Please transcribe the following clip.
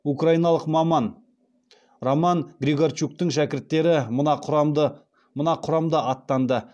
украиналық маман роман григорчуктың шәкірттері мына құрамда аттанды